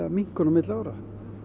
minnkun milli ára